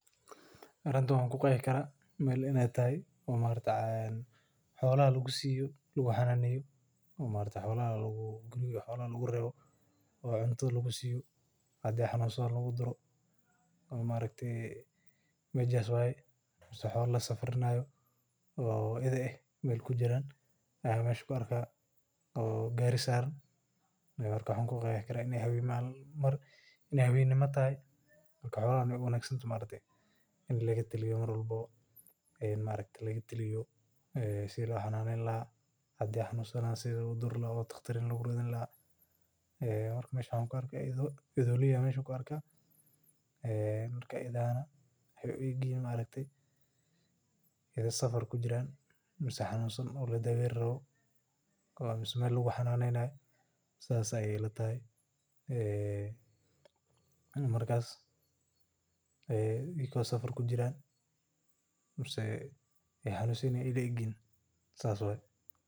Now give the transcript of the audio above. Arintan waxaa ku qeexi karaa melaha xolaha lagu xananeyo oo maaragte xolaha lagu rewo oo lagu duro mase xola lasafrinayo o itha eh marka in ee hawen taho marka hadii ee xanun sadhan in daqtar logeyo marka iyaga oo safar kujiran ama ee xanun san yihin ayey ila egyihin sas waye.